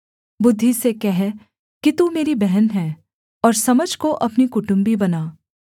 बुद्धि से कह कि तू मेरी बहन है और समझ को अपनी कुटुम्बी बना